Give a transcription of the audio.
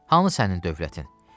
Hamı sənin dövlətin.